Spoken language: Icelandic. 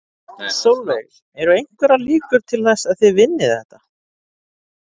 Sólveig: Eru einhverjar líkur til þess að þið vinnið þetta?